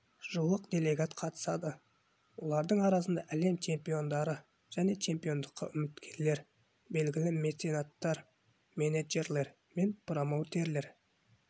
жуық делегат қатысады олардың арасында әлем чемпиондары және чемпиондыққа үміткерлер белгілі меценаттар менеджерлер мен промоутерлер